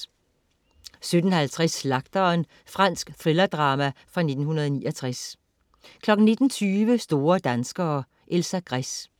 17.50 Slagteren. Fransk thrillerdrama fra 1969 19.20 Store danskere. Elsa Gress